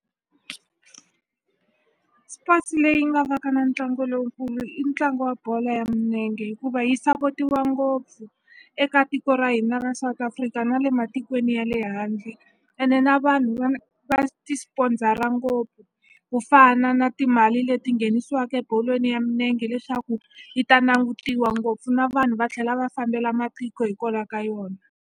Sports leyi nga va ka na ntlangu lowukulu i ntlangu wa bolo ya minenge hikuva yi sapotiwa ngopfu eka tiko ra hina ra South Africa na le matikweni ya le handle ene na vanhu va ti sponsor-a ngopfu ku fana na timali leti nghenisiwaku ebolweni ya minenge leswaku yi ta nangutiwa ngopfu na vanhu va tlhela va fambela matiko hikwalaho ka yona.